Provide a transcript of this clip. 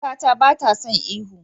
Kakata bata son ihu.